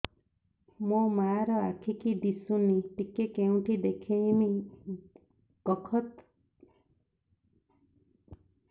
ମୋ ମା ର ଆଖି କି ଦିସୁନି ଟିକେ କେଉଁଠି ଦେଖେଇମି କଖତ